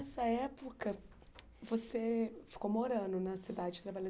Nessa época, você ficou morando na cidade, trabalhando.